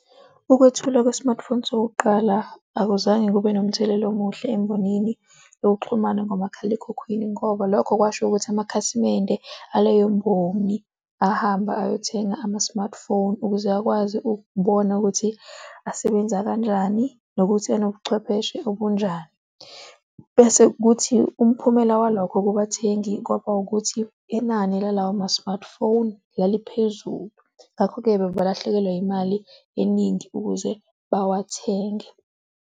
Ukwethula kwe-smartphone sokuqala akuzange kube nomthelela omuhle embonini lokuxhumana ngomakhalekhukhwini ngoba lokho kwasho ukuthi amakhasimende aleyo mboni ahambe ayothenga ama-smartphone ukuze akwazi ukubona ukuthi asebenza kanjani nokuthi anobuchwepheshe obunjani. Bese kuthi umphumela walokho kubathengi kwaba ukuthi inani la lawo ma-smartphone laliphezulu. Ngakho-ke balahlekelwa imali eningi ukuze bawathenge.